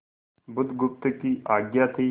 बुधगुप्त की आज्ञा थी